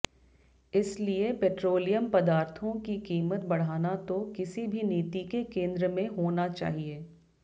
इसलिए पेट्रोलियम पदार्थों की कीमत बढ़ाना तो किसी भी नीति के केंद्र में होना चाहिए